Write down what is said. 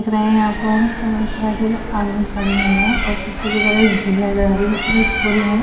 दिख रहे हैं यहाँ पर खड़े हुए हैं और पीछे कि तरफ एक झील नज़र आ रही है ऊपर एक पुल है।